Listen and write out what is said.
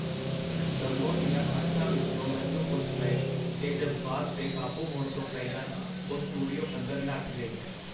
ਦੱਮੋ ਦੀਆਂ ਅੱਖਾਂ ਵਿਚੋਂ ਹੰਝੂ ਫੁੱਟ ਪਏ, ਤੇ ਜਜ਼ਬਾਤ ਬੇਕਾਬੂ ਹੋਣ ਤੋਂ ਪਹਿਲਾਂ ਉਹ ਸਟੂਡੀਓ ਅੰਦਰ ਨੱਠ ਗਈ.